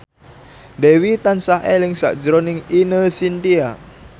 Dewi tansah eling sakjroning Ine Shintya